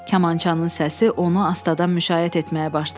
Kamançanın səsi onu astadan müşayiət etməyə başladı.